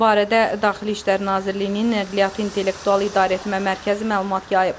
Bu barədə Daxili İşlər Nazirliyinin Nəqliyyatı İntellektual İdarəetmə Mərkəzi məlumat yayıb.